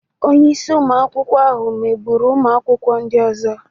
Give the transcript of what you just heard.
Onye isi ụmụ akwụkwọ ahụ megburu ụmụ akwụkwọ ndị ọzọ.